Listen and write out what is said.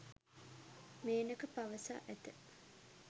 මේනක පවසා ඇත